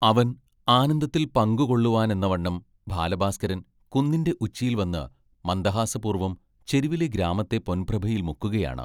അവൻ ആനന്ദത്തിൽ പങ്കുകൊള്ളുവാനെന്നവണ്ണം ബാലഭാസ്കരൻ കുന്നിന്റെ ഉച്ചിയിൽ വന്നു മന്ദഹാസപൂർവം ചെരിവിലെ ഗ്രാമത്തെ പൊൻപ്രഭയിൽ മുക്കുകയാണ്.